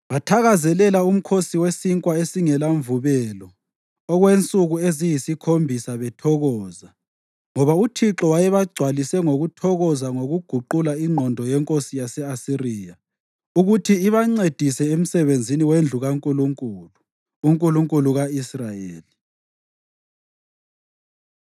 Bathakazelela uMkhosi weSinkwa esingelaMvubelo okwensuku eziyisikhombisa bethokoza, ngoba uThixo wayebagcwalise ngokuthokoza ngokuguqula ingqondo yenkosi yase-Asiriya ukuthi ibancedise emsebenzini wendlu kaNkulunkulu, uNkulunkulu ka-Israyeli.